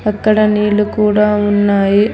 అక్కడ నీళ్లు కూడా ఉన్నాయి.